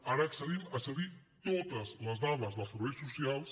ara accedim a cedir totes les dades dels serveis socials